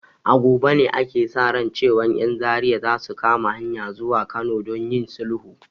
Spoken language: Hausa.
A gobe ne ake sa ran cewan 'yan Zaria za su kama hanyan zuwa Kano don yin sulhu.